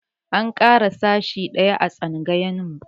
An ƙara sashi ɗaya a tsangayarmu.